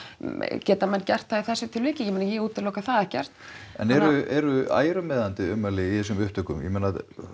geta menn gert það í þessu tilviki ég meina ég útiloka það ekkert en eru ærumeiðandi ummæli í þessum upptökum ég meina